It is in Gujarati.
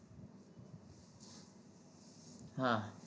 હા